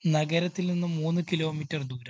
നഗരത്തില്‍ നിന്നും മൂന്നു kilometer ദൂരം.